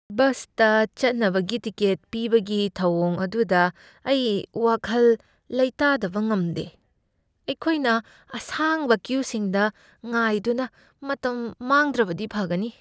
ꯕꯁꯇ ꯆꯠꯅꯕꯒꯤ ꯇꯤꯀꯦꯠ ꯄꯤꯕꯒꯤ ꯊꯧꯑꯣꯡ ꯑꯗꯨꯗ ꯑꯩ ꯋꯥꯀꯜ ꯂꯩꯇꯥꯗꯕ ꯉꯝꯗꯦ, ꯑꯩꯈꯣꯏꯅ ꯑꯁꯥꯡꯕ ꯀ꯭ꯌꯨꯁꯤꯡꯗ ꯉꯥꯏꯗꯨꯅ ꯃꯇꯝ ꯃꯥꯡꯗ꯭ꯔꯕꯗꯤ ꯐꯒꯅꯤ꯫